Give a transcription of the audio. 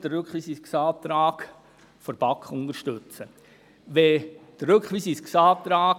Aus diesen Gründen unterstützen wir den Rückweisungsantrag